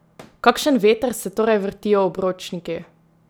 V kakšen veter se torej vrtijo obročniki?